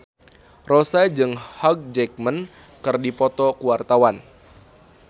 Rossa jeung Hugh Jackman keur dipoto ku wartawan